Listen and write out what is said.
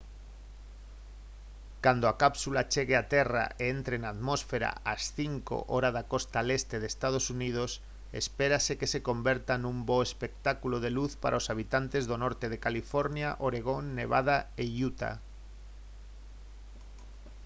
cando a cápsula chegue á terra e entre na atmosfera ás 5:00 h hora da costa leste de ee. uu. espérase que se converta nun bo espectáculo de luz para os habitantes do norte de california oregón nevada e utah